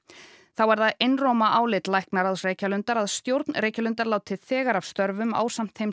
þá er það einróma álit læknaráðs Reykjalundar að stjórn Reykjalundar láti þegar af störfum ásamt þeim